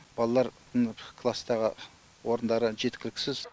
балалар класстағы орындары жеткіліксіз